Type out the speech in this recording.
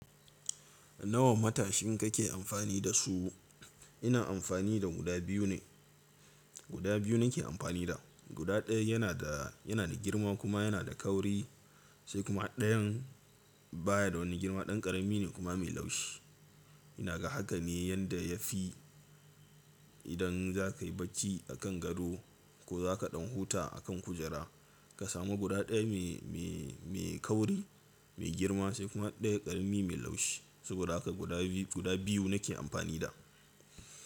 Nawa matashin kake amfani da su? Ina amfani da guda biyu ne. Guda biyu nake amfani da. Guda ɗaya yana da, yana da girma kuma yana da kauri sai kuma ɗayan baya da wani girma, ɗan ƙarami ne kuma mai laushi. Ina ga haka ne yanda ya fi idan za ka yi bacci a kan gado ko za ka ɗan huta a kan kujera, ka samu guda ɗaya mai, mai, mai kauri, mai girma sai kuma ɗaya ƙarami mai laushi. Saboda haka guda biyu, guda biyu nake amfani da.